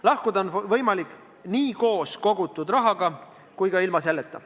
Lahkuda on võimalik nii koos kogutud rahaga kui ka ilma selleta.